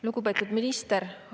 Lugupeetud minister!